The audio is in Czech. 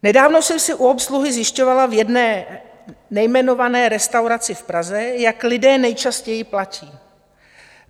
Nedávno jsem si u obsluhy zjišťovala v jedné nejmenované restauraci v Praze, jak lidé nejčastěji platí.